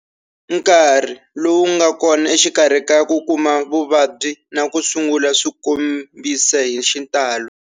Nkarhi lowu nga kona exikarhi ka ku kuma vuvabyi na ku sungula swikombisa hi xitalo.